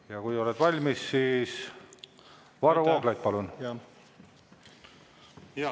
Ja kui oled valmis, siis Varro Vooglaid, palun!